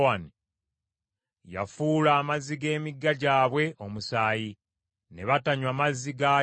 yafuula amazzi g’emigga gyabwe omusaayi, ne batanywa mazzi gaagyo.